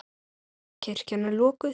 Kirkjan er lokuð.